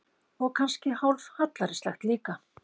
Og kannski hálf hallærislegt líka.